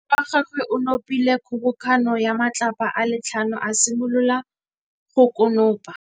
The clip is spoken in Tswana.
Morwa wa gagwe o nopile kgobokanô ya matlapa a le tlhano, a simolola go konopa.